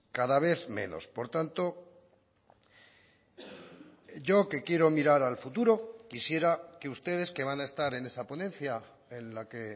cada vez menos por tanto yo que quiero mirar al futuro quisiera que ustedes que van a estar en esa ponencia en la que